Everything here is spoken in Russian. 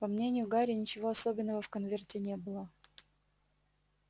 по мнению гарри ничего особенного в конверте не было